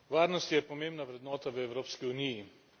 Varnost je pomembna vrednota v Evropski uniji.